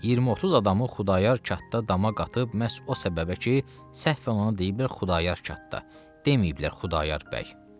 20-30 adamı Xudayar katta dama qatıb məhz o səbəbə ki, səhv ona deyiblər Xudayar katta, deməyiblər Xudayar bəy.